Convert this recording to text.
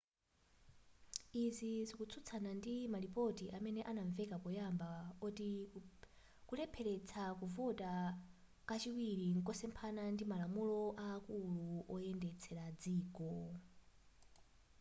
izi zikutsutsana ndi malipoti amene ananveka poyamba oti kulepheletsa kuvota kachiwiri nkosephana ndi malamulo aakulu oyendetsela dziko